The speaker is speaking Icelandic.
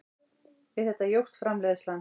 Við þetta jókst framleiðslan.